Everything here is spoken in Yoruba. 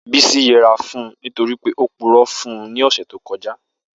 Bisi yẹra fun u nitori pe o purọ fun u ni ọsẹ to kọja.